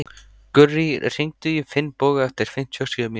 Gurrí, hringdu í Finnbogu eftir fimmtíu og sjö mínútur.